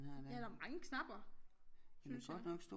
Ja der mange knapper synes jeg